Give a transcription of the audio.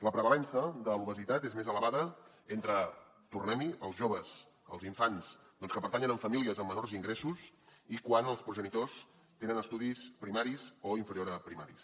la prevalença de l’obesitat és més elevada entre tornem hi els joves els infants doncs que pertanyen a famílies amb menors ingressos i quan els progenitors tenen estudis primaris o inferior a primaris